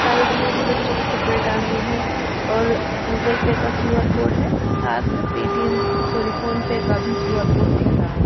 Side में भी बच्चों के कपड़े टांगे हैं और गूगल पे का क्यू_आर कोड है साथ में पेटीएम सॉरी फोनपे का भी क्यू_आर कोड दिख रहा है।